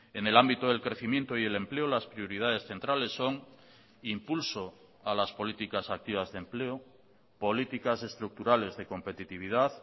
en el ámbito del crecimiento y el empleo las prioridades centrales son impulso a las políticas activas de empleo políticas estructurales de competitividad